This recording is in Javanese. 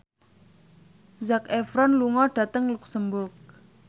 Zac Efron lunga dhateng luxemburg